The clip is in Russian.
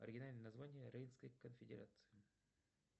оригинальное название рейнской конфедерации